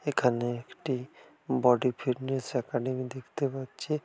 এখানে একটি body fitness academy দেখতে পাচ্ছি।